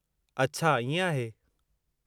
अछा इएं आहे।